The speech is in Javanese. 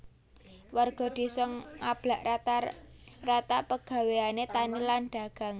Warga désa ngablak rata rata pegawéané tani lan dagang